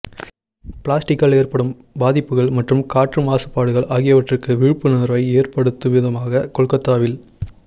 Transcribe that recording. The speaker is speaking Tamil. பிளாஸ்டிக்கால் ஏற்படும் பாதிப்புகள் மற்றும் காற்று மாசுபடுதல் ஆகியவற்றுக்கு விழிப்புணர்வை ஏற்படுத்தும்விதமாக கொல்கத்தாவில்